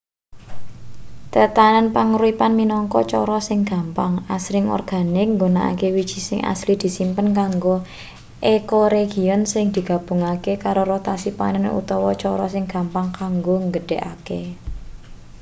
tetanen panguripan minangka cara sing gampang asring organik nggunakake wiji sing asli disimpen kanggo ecoregion sing digabungake karo rotasi panen utawa cara sing gampang kanggo nggedhekake